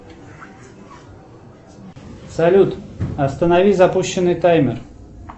салют останови запущенный таймер